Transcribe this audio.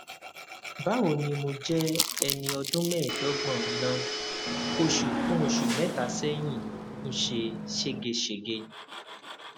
báwo ni mo jẹ ẹni ọdún mẹẹẹdọgbọn na oṣù fún oṣù mẹta sẹyìn ń ṣe ségesège